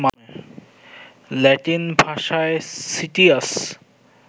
Latin ভাষায় citius